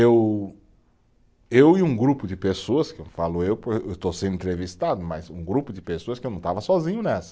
Eu, eu e um grupo de pessoas, que eu falo eu, porque eu estou sendo entrevistado, mas um grupo de pessoas porque eu não estava sozinho nessa.